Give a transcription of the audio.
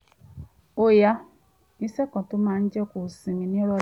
ó ya ìṣe kan tó máa jẹ́ kó sinmi